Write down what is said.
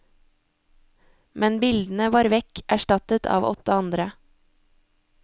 Men bildene var vekk, erstattet av åtte andre.